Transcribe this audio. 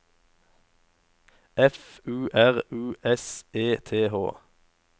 F U R U S E T H